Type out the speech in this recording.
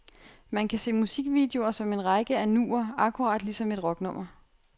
Man kan se musikvideoer som en række af nuer, akkurat ligesom et rocknummer.